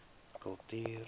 kultuur